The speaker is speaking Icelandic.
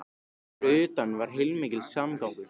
En þar fyrir utan var heilmikill samgangur.